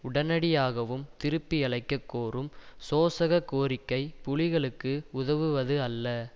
உடனடியாகவும் திருப்பியழைக்கக் கோரும் சோசக கோரிக்கை புலிகளுக்கு உதவுவது அல்ல